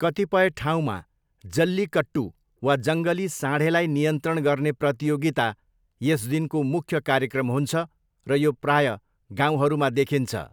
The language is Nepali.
कतिपय ठाउँमा जल्लीकट्टू वा जङ्गली साँढेलाई नियन्त्रण गर्ने प्रतियोगिता यस दिनको मुख्य कार्यक्रम हुन्छ र यो प्रायः गाउँहरूमा देखिन्छ।